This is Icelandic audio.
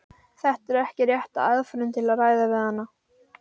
Þetta er ekki rétta aðferðin til að ræða við hana.